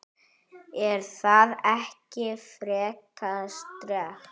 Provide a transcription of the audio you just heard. Er það ekki frekar sterkt?